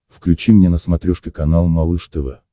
включи мне на смотрешке канал малыш тв